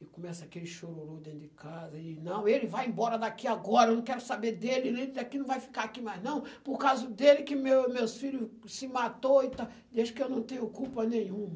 e começa aquele chororô dentro de casa, e não, ele vai embora daqui agora, eu não quero saber dele, ele daqui não vai ficar aqui mais, não, por causa dele que meus meus filhos se matou, desde que eu não tenho culpa nenhuma.